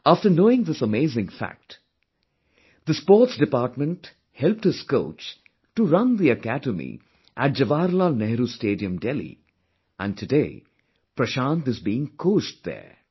After knowing this amazing fact, the Sports Department helped his coach to run the academy at Jawaharlal Nehru Stadium, Delhi and today Prashant is being coached there